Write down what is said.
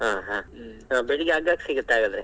ಹಾ ಹಾ ಬೆಳಿಗ್ಗೆ ಅಗ್ಗಕೆ ಸಿಗತ್ ಹಾಗಾದ್ರೆ?